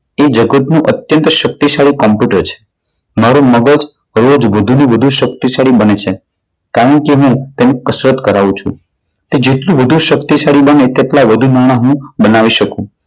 એ જગતનું અત્યંત શક્તિશાળી કોમ્પ્યુટર છે. મારું મગજ રોજ વધુને વધુ શક્તિશાળી બને છે. કારણ કે હું તેને કસરત કરાવું છું તે જેટલું વધુ શક્તિશાળી બને તેટલા વધુ બહાનું બનાવી શકું.